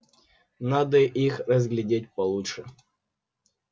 надо их разглядеть получше